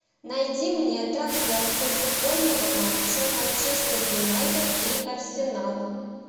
найди мне трансляцию футбольного матча манчестер юнайтед и арсенал